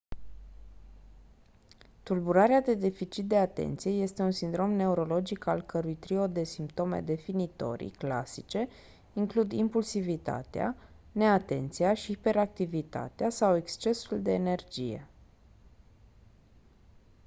tulburarea de deficit de atenție «este un sindrom neurologic al cărui trio de simptome definitorii clasice includ impulsivitatea neatenția și hiperactivitatea sau excesul de energie».